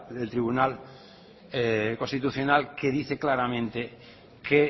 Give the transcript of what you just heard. tribunal constitucional que dice claramente que